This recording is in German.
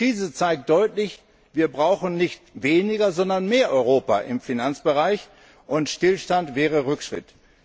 Die Krise zeigt deutlich Wir brauchen nicht weniger, sondern mehr Europa im Finanzbereich, und Stillstand wäre Rückschritt.